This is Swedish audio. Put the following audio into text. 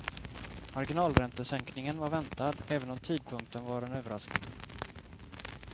Marginalräntesänkningen var väntad, även om tidpunkten var en överraskning.